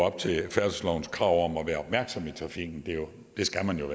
op til færdselslovens krav om at være opmærksom i trafikken det skal man jo